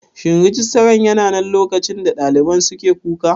Shin Rijistaran yananan lokacin da ɗaliban suke kuka?